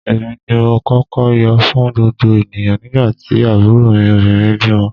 Èmi ni mo kọ́kọ́ yọ̀ fún gbogbo ènìyàn nígbà tí àbúrò mi obìnrin bímọ